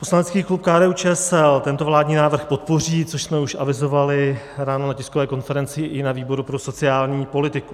Poslanecký klub KDU-ČSL tento vládní návrh podpoří, což jsme už avizovali ráno na tiskové konferenci i na výboru pro sociální politiku.